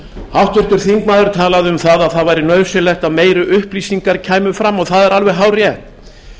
háttvirtur þingmaður talaði um að það væri nauðsynlegt að meiri upplýsingar kæmu fram og það er alveg hárrétt